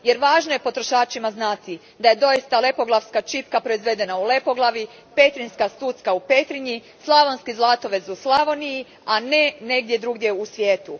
Jer važno je potrošačima znati da je doista Lepoglavska čipka proizvedena u Lepoglavi, Petrinjska stucka u Petrinji, Slavonski zlatovez u Slavoniji, a ne negdje drugdje u svijetu.